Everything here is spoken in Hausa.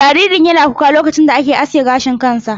Jaririn yana kuka lokacin da ake aske gashin kansa.